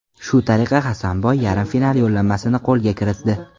Shu tariqa Hasanboy yarim final yo‘llanmasini qo‘lga kiritdi.